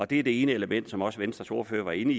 det er det ene element som også venstres ordfører var inde